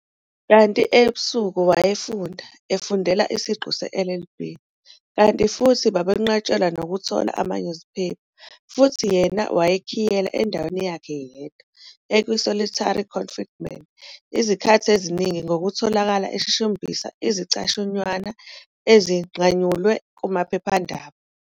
Kanti ebusuku wayefunda, efundela isiqu se-LLB, kanti futhi babenqatshelwa nokuthola amanyuziphepha, futhi yena wayekhiyelwa endaweni yakhe yedwa ekwi-solitary confinement izikhathi eziningi ngokutholakala eshushumbise izicashunywana ezinqanyulwe kumaphephandaba.